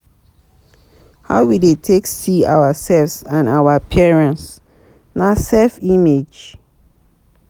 How we take dey see ourself and our appearance na self-image